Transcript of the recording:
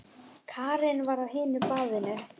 Karen var á hinu baðinu.